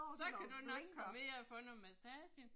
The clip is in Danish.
Så kan du nok komme ind og få noget massage